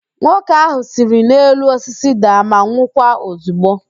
Nwoke ahụ siri n'elu osisi daa ma nwụkwa ozigbo